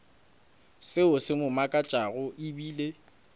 seo se mo makatšago ebile